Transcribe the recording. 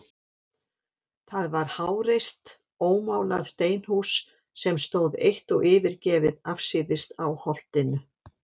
Það var háreist ómálað steinhús, sem stóð eitt og yfirgefið afsíðis á Holtinu.